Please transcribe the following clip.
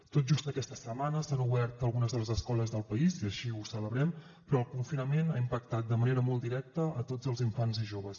tot just aquesta setmana s’han obert algunes de les escoles del país i així ho celebrem però el confinament ha impactat de manera molt directa a tots els infants i joves